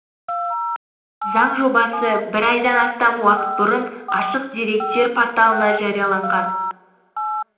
заң жобасы бір айдан астам уақыт бұрын ашық деректер порталына жарияланған